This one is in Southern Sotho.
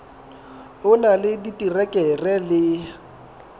o na le diterekere le